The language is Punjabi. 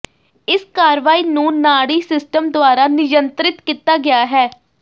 ਇਸ ਕਾਰਵਾਈ ਨੂੰ ਨਾੜੀ ਸਿਸਟਮ ਦੁਆਰਾ ਨਿਯੰਤ੍ਰਿਤ ਕੀਤਾ ਗਿਆ ਹੈ